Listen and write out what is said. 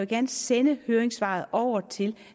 gerne sende høringssvaret over til